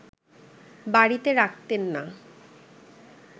বাড়িতে রাখতেন না